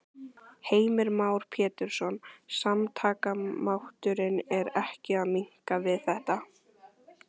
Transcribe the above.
Heimir Már Pétursson: Samtakamátturinn er ekki að minnka við þetta?